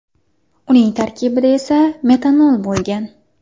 Uning tarkibida esa metanol bo‘lgan.